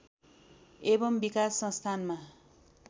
एवं विकास संस्थानमा